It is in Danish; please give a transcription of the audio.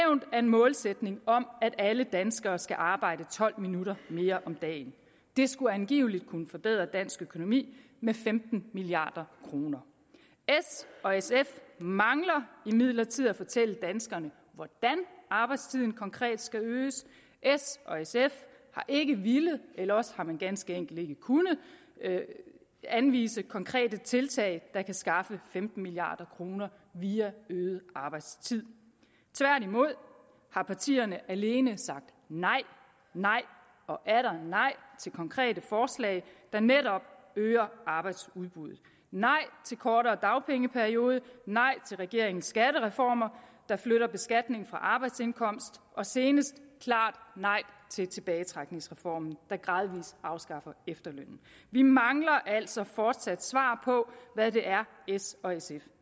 af en målsætning om at alle danskere skal arbejde tolv minutter mere om dagen det skulle angiveligt kunne forbedre dansk økonomi med femten milliard kroner s og sf mangler imidlertid at fortælle danskerne hvordan arbejdstiden konkret skal øges s og sf har ikke villet eller også har man ganske enkelt ikke kunnet anvise konkrete tiltag der kan skaffe femten milliard kroner via øget arbejdstid tværtimod har partierne alene sagt nej nej og atter nej til konkrete forslag der netop øger arbejdsudbuddet nej til kortere dagpengeperiode nej til regeringens skattereformer der flytter beskatningen fra arbejdsindkomst og senest klart nej til tilbagetrækningsreformen der gradvis afskaffer efterlønnen vi mangler altså fortsat svar på hvad det er s og sf